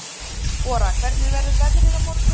Ora, hvernig verður veðrið á morgun?